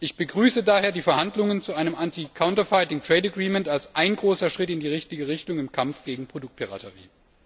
Ich begrüße daher die Verhandlungen zu einem Anti Counterfeiting Trade Agreement als großen Schritt in die richtige Richtung im Kampf gegen Produktpiraterie.